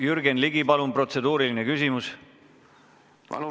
Jürgen Ligi, protseduuriline küsimus, palun!